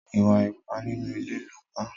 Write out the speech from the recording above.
Ìwà ipá nínú ilé ló pa.